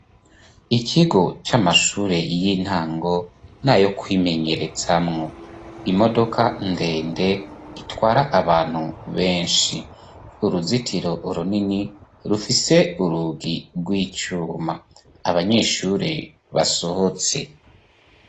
Ikigo c'amashure y'intango nayo kwimenyerezamwo , imodoka ndende itwara abantu benshi, uruzitiro runini rufise urugi rw'icuma ,abanyeshure basohotse.